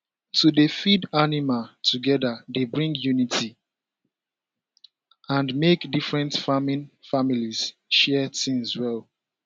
to dey feed animal together dey bring unity and make different farming families share things well